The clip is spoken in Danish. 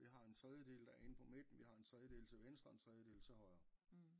Vi har en tredjedel der er inde på midten vi har en tredjedel til venstre og en tredjedel til højre